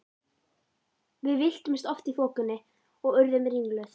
Við villtumst oft í þokunni og urðum ringluð.